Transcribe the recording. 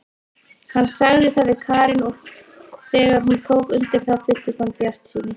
Hann sagði það við Karen og þegar hún tók undir það fylltist hann bjartsýni.